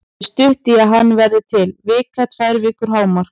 Það er stutt í að hann verði til, vika, tvær vikur hámark.